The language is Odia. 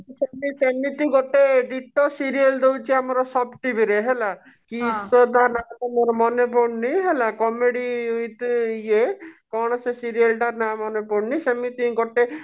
ସେମିତି ଗୋଟେ ଡିଟୋ serial ଦଉଛି ଆମର ସବ୍ TV ରେ ହେଲା କି ସେ ନା ଟା ତ ମୋର ମନେ ପଡୁନି ହେଲା comedy with ଇଏ କଣ ସେ serial ଟା ନା ମନେ ପଡୁନି ସେମିତି ଗୋଟେ